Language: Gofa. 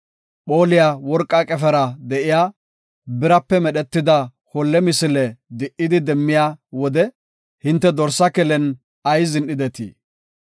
Phooliya worqa qefera de7iya, birape medhetida holle misile di77idi demmiya wode hinte dorsa kelen ayis zin7ideti?